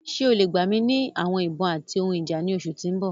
Ṣe o le gba mi ni awọn ibon ati awọn ohun ija ni oṣu ti n bọ?